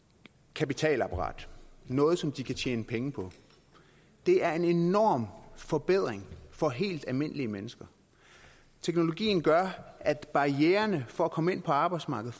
kapitalapparat noget som de kan tjene penge på det er en enorm forbedring for helt almindelige mennesker teknologien gør at barriererne for at komme ind på arbejdsmarkedet